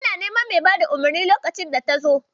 Ina neman mai bayar da umarnin lokacin data zo.